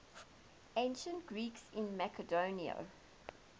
ancient greeks in macedon